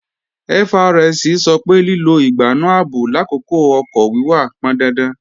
FRSC sọ pé lílo ìgbánú ààbò làkókò ọkọ̀ wíwà pọndandan